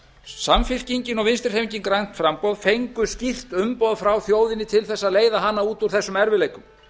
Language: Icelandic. samfylkingin og vinstri hreyfingin grænt framboð fengu skýrt umboð frá þjóðinni til þess að eða hana út úr þessum erfiðleikum